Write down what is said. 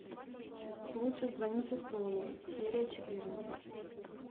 лучше звоните солу серия четырнадцать